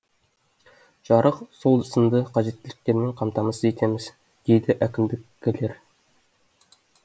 жарық сол сынды қажеттіліктермен қамтамасыз етеміз дейді әкімдіккілер